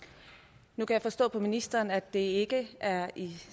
nu kan jeg forstå på ministeren at det ikke er i